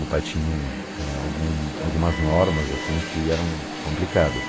Meu pai tinha uma eh algum algumas normas assim que eram complicadas.